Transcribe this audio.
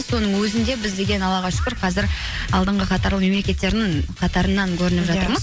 соның өзінде біз деген аллаға шүкір қазір алдыңғы қатарлы мемлекеттердің қатарынан көрініп жатырмыз